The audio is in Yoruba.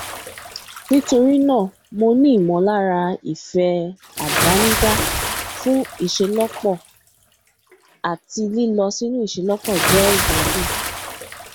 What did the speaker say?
nítorí náà mo ní ìmọlára ìfẹ àdánidá fún ìṣelọpọ àti lílọ sínú ìṣelọpọ jẹ ìgbádùn